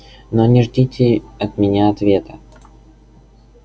но не ждите от меня ответа